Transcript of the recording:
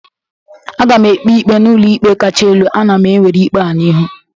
Aga m ekpe ikpe n'ụlọ ikpe kacha elu, ana m ewere ikpe a n'ihu